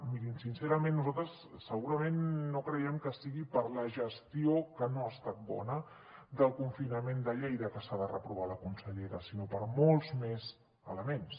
mirin sincerament nosaltres segurament no creiem que sigui per la gestió que no ha estat bona del confinament de lleida que s’ha de reprovar la consellera sinó per molts més elements